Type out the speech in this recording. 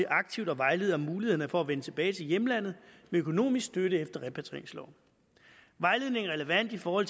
aktivt at vejlede om mulighederne for at vende tilbage til hjemlandet med økonomisk støtte efter repatrieringsloven vejledning er relevant for